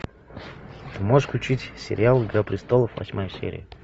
можешь включить сериал игра престолов восьмая серия